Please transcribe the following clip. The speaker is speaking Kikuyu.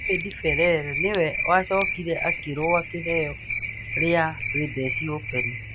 David Ferrer nĩwe wacokire akĩrũa kĩheo rĩa Swedish Open.